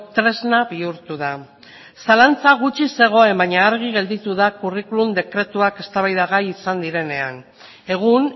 tresna bihurtu da zalantza gutxi zegoen baina argi gelditu da curriculum dekretuak eztabaidagai izan direnean egun